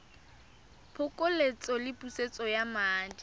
phokoletso le pusetso ya madi